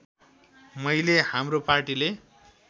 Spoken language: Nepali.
मैले हाम्रो पार्टीले